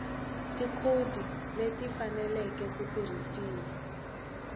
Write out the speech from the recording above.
tikhodi leti faneleke ku tirhisiwa